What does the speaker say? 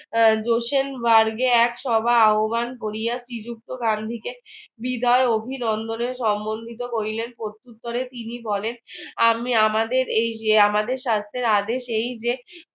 Johsen burg এ এক সভা আহবান করিয়া শ্রীযুক্ত গান্ধীকে বিদায় ও অভিনন্দনে সম্বন্ধিত করিলেন প্রত্যুত্তরে তিনি বলেন আমি আমাদের এই যে আমাদের শাস্ত্রের আদেশ এই যে